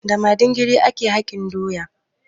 Da madingiri ake hakin doya.